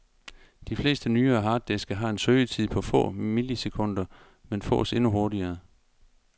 De fleste nyere harddiske har en søgetid på få milisekunder, men fås endnu hurtigere.